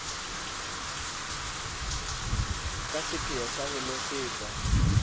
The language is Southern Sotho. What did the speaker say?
ka seipheo sa ho nosetsa